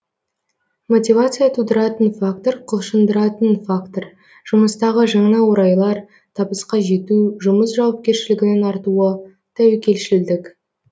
мотивация тудыратын фактор құлшындыратын фактор жұмыстағы жаңа орайлар табысқа жету жұмыс жауапкершілігінің артуы тәуекелшілдік